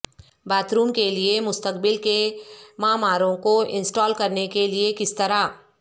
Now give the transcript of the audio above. bath room کے لئے مستقبل کے معماروں کو انسٹال کرنے کے لئے کس طرح